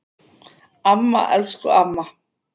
Amma, elsku amma.